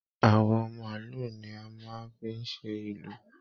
Àwọ maálù ní a máa n fí ṣe ìlù.